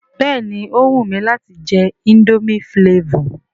Béèni ó wù mi láti je indomie flavour